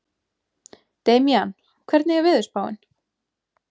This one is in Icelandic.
Damjan, hvernig er veðurspáin?